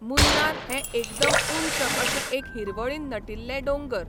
मुन्नार हें एकदम ऊंच अशें एक हिरवळीन नटिल्लें डोंगर.